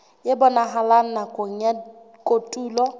e bonahalang nakong ya kotulo